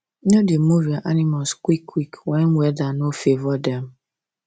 no da move your animals quick quick when weather no favour dem